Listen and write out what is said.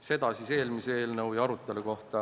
Nii palju siis eelmise eelnõu ja arutelu kohta.